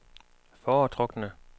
foretrukne